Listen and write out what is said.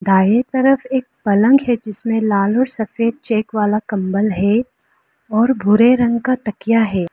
दाएं तरफ एक पलंग है जिसमें लाल और सफेद चेक वाला कंबल है और भूरे रंग का तकिया है।